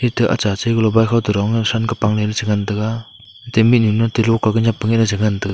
ate acha chai bike kho ke dong ang le than toh pangley lah chi ngan tega ata mihnu loka keh nep nga ley chi ngan tega.